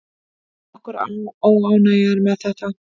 Nokkur óánægja er með þetta.